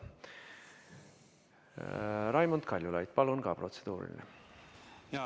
Raimond Kaljulaid, palun protseduuriline küsimus!